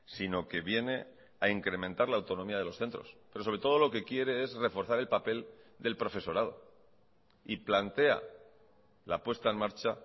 sino que viene a incrementar la autonomía de los centros pero sobre todo lo que quiere es reforzar el papel del profesorado y plantea la puesta en marcha